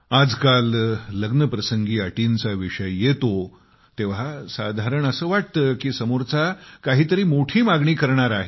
आजकाल लग्न प्रसंगी अटींचा विषय येतो तेव्हा साधारण असे वाटते कीसमोरचा काही तरी मोठी मागणी करणार आहे